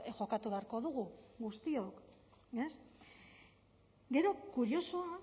jokatu beharko dugu guztiok ez gero kuriosoa